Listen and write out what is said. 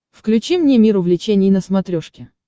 включи мне мир увлечений на смотрешке